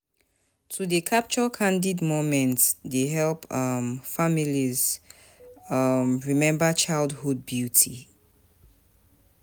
To dey Capture candid moments dey help um families um remember childhood beauty.